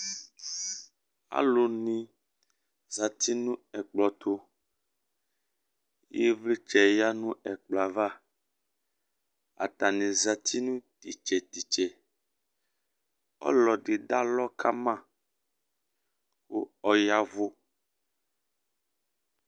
Aluni zati nu ɛkplɔ tu Ivlitsɛ ya nu ɛkplɔ ava Atani zati nu titse titse Ɔlɔdi dalɔ kama ɔyavu